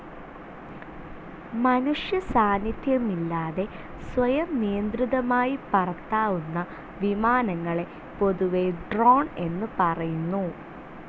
മനുഷ്യസാന്നിധ്യമില്ലാതെ സ്വയം നിയന്ത്രിതമായി പറത്താവുന്ന വിമാനങ്ങളെ പൊതുവേ ഡ്രോൺ എന്നുപറയുന്നു.